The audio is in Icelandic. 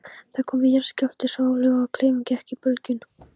Það kom jarðskjálfti, svo öflugur að klefinn gekk í bylgjum.